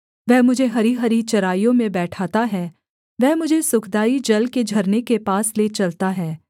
वह मुझे हरीहरी चराइयों में बैठाता है वह मुझे सुखदाई जल के झरने के पास ले चलता है